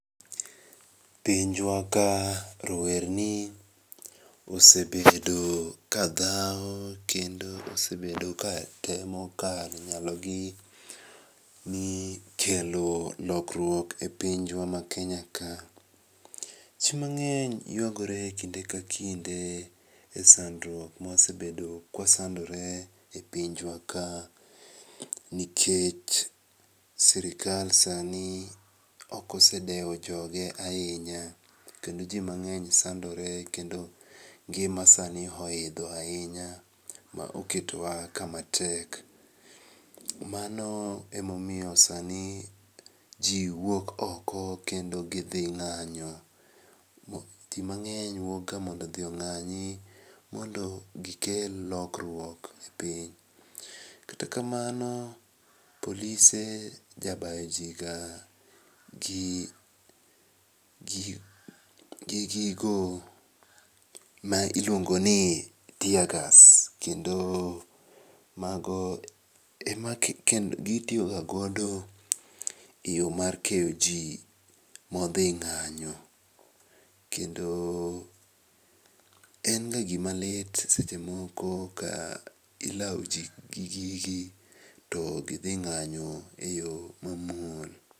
Pinjwa ka rowerni osebedo kadhau kendo osebedo katemo kal nyalogi ni kelo lokruok e pinjwa maKenya ka. Jii mang'eny yuagore kinde ka kinde e sandurok mwasebedo kwasandore e pinjwa ka, nikech serikal sani okosedewo joge ahinya, kendo jii mang'eny sandore, kendo ngima sani ohidho ahinya maoketowa kama tek. Mano emomiyo sani jii wuok oko kendo kidhi ng'anyo. Jii mang'eny wuokga mondo odhi ong'anyi mondo gikel lokruok e piny. Kata kamano polise jabayo jii ga gi gigo mailuongoni teargas kendo mago ema gitiyoga godo eyo mar keyo jii modhi ng'anyo, kendo en ga gimalit sechemoko ka ilau jii gi gigi to gidhi ng'anyo e yo mamuol.